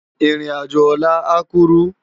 Irin ájó òlà á kúrú